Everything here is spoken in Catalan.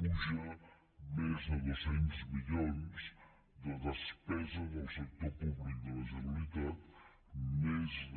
puja més de dos cents milions de despesa del sector públic de la generalitat més de